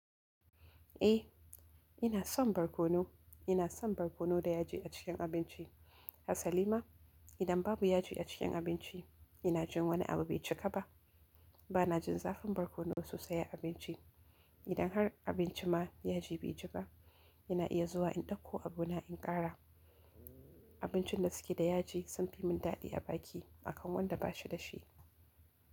A, i na son barkonu. Ina son barkono da yaji a cikin abinci. A salima, idan babu yaji a cikin abinci, ina jin wani abu bai cika ba. Ba na jin zafin barkono sosai a abinci. Idan har abinci ma yaji bai ji ba, ina iya zuwa in dauko abu na in ƙara. Abincin da suke da yaji sun fi mun daɗi a baki akan wanda ba shi da shi.